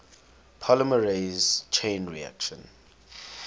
polymerase chain reaction